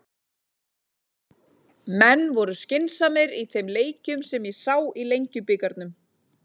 Menn voru skynsamir í þeim leikjum sem ég sá í Lengjubikarnum.